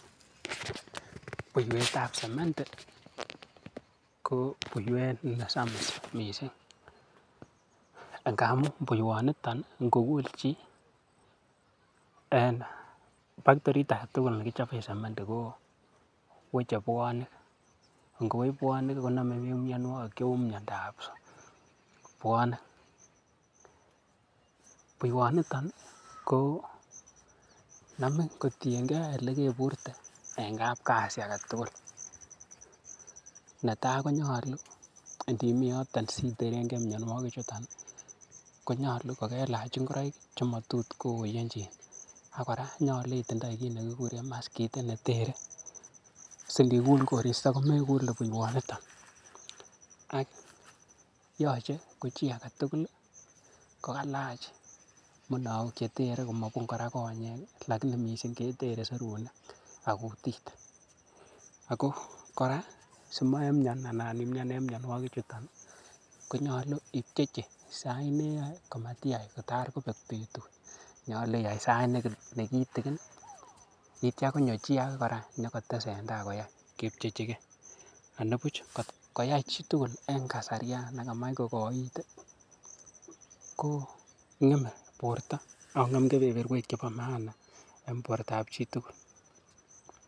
Buiwetab sementi ko buiwet nesamis missing. Ngamun buiwat nito ngokul chi ih en factory agetugul nekichoben sementi ko weche buanik ingowech buanik ih koname bik miannuagik cheuu miandab buanik. Buiwaniton Konamin kotienge elekebirte en kab Kasi agetugul. Netai ko nyalu inimiyoto si terenke miannuagik chuton ih konyalu kokelach ingoraik che matotkoyenchinak kora nyalu itindai kit nekikuren maskit netere sindibure komekule buiwaniton yache ko chi agetugul ih kokalach munaok cheter simabun konyek alaini missing ketere serunek ak kutik. Ako kora simenian en mianwagig chuton konyalu ibchechi sait sait neyae kamatiayai itaikobek betut, nyalu iyai sait nekitikin yeitia konyo chi age kora inyokotesentai koyai. Anibuch atkoyai chitugul en kasarian nekamatch kokoit ih kong'eme borta Ako ng'em kebeberuek chebo maana en bortab chitugul.